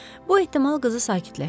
Bu ehtimal qızı sakitləşdirdi.